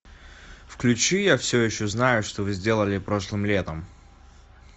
включи я все еще знаю что вы сделали прошлым летом